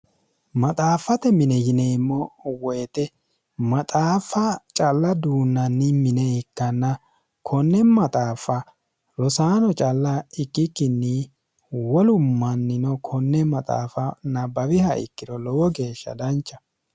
maxaaffate mine yineemmo woyixe maxaaffa calla duunnanni mine ikkanna konne maxaafa rosaano calla ikkikkinni wolu mannino konne maxaafa nabbawiha ikkiro lowo geeshsha dancha